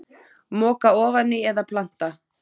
Moka ofan í eða planta?